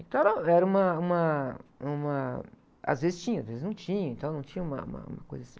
Então era, era uma, uma, uma... Às vezes tinha, às vezes não tinha, então não tinha uma, uma coisa assim.